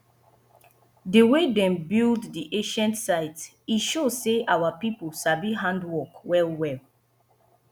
di way dem build di ancient site e show sey our pipo sabi handwork wellwell